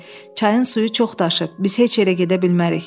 Çayın suyu çox daşıb, biz heç yerə gedə bilmərik.